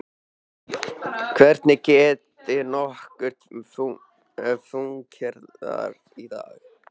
Hvernig getur nokkur fúnkerað í dag?